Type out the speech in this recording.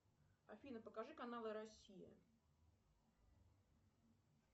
афина покажи каналы россия